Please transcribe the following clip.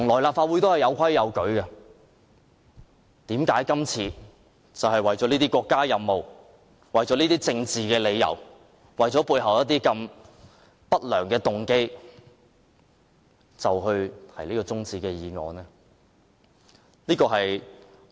立法會向來是有規有矩的，為何今次為了國家任務、政治理由、背後一些不良的動機而提出休會待續議案？